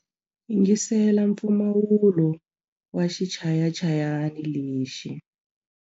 Yingisela mpfumawulo wa xichayachayani lexi.